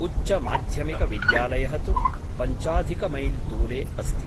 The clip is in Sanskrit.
उच्चमाध्यमिक विद्यालयः तु पञ्चाधिकमैल्दूरे अस्ति ।